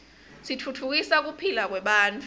titfutfukisa kuphila kwebantfu